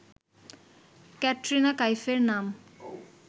ক্যাটরিনা কাইফের নাম